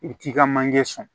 I bi t'i ka manje sɔn